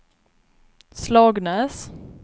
Slagnäs